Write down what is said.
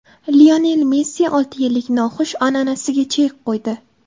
Lionel Messi olti yillik noxush an’anasiga chek qo‘ydi.